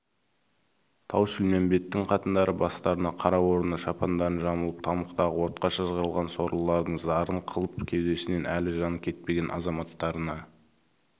тау-шілмембеттің қатындары бастарына қара орнына шапандарын жамылып тамұқтағы отқа шыжғырылған сорлылардың зарын қылып кеудесінен әлі жаны кетпеген азаматтарына